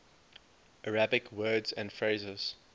arabic words and phrases